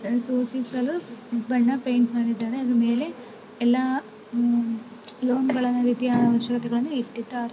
ಸೂಚಿಸಲು ಬಣ್ಣ ಪೈಂಟ್ ಮಾಡಿದ್ದಾರೆ. ಅದರ ಮೇಲೆ ಎಲ್ಲಾ ಲೋನ್ ಗಳನ್ನಾ ರೀತಿಯ ಅವಶ್ಯಕತೆಗಳನ್ನ ಇಟ್ಟಿದ್ದಾರೆ.